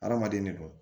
Adamaden ne don